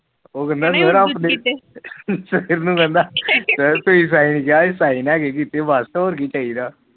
ਉਹ ਕਹਿੰਦਾ ਸਾਈਨ ਕੀਤੇ ਹੋਰ ਕੀ ਚਾਹੀਦਾ